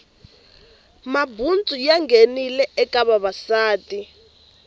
mabutsu ya voya ya nghenile eka vavasati